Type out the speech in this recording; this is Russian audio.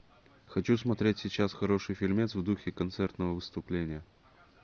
хочу смотреть сейчас хороший фильмец в духе концертного выступления